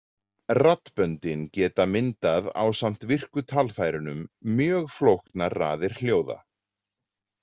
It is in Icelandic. Raddböndin geta myndað ásamt virku talfærunum mjög flóknar raðir hljóða.